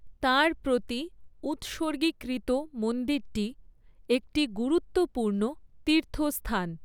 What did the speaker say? তাঁর প্রতি উৎসর্গিকৃত মন্দিরটি একটি গুরুত্বপূর্ণ তীর্থস্থান।